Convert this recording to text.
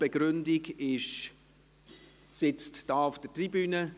Die Begründung sitzt hier auf der Tribüne;